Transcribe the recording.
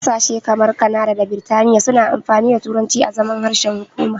Ƙasashe kamar Kanada da Biritaniya suna amfani da turanci azaman harshen hukuma.